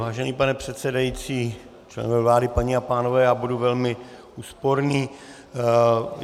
Vážený pane předsedající, členové vlády, paní a pánové, já budu velmi úsporný.